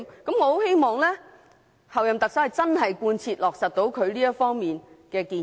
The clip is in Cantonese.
我很希望候任特首能真正貫徹落實她這方面的建議。